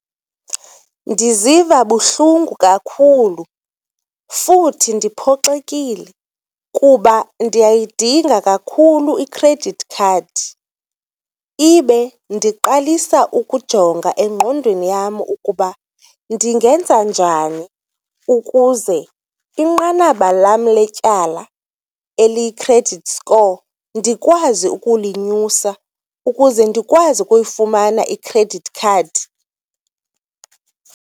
Ndiziva buhlungu kakhulu futhi ndiphoxekile kuba ndiyayidinga kakhulu i-credit card ibe ndiqalisa ukujonga engqondweni yam ukuba ndingenza njani ukuze inqanaba lam letyala eliyi-credit score ndikwazi ukulinyusa ukuze ndikwazi ukuyifumana i-credit card.